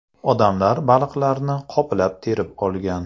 Odamlar baliqlarni qoplab terib olgan.